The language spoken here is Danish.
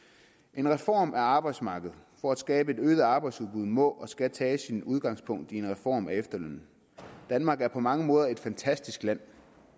en reform af arbejdsmarkedet for at skabe et øget arbejdsudbud må og skal tage sit udgangspunkt i en reform af efterlønnen danmark er på mange måder et fantastisk land